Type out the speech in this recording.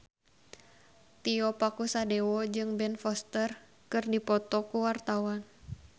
Tio Pakusadewo jeung Ben Foster keur dipoto ku wartawan